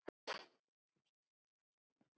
Lífið blasti við ykkur Bubba.